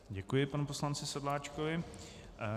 Děkuji panu poslanci Sedláčkovi.